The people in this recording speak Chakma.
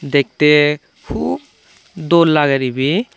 dektey hup dol lager ebey.